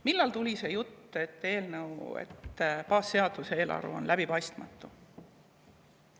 Millal tuli see jutt, et eelnõu, et baasseadus ja eelarve on läbipaistmatud?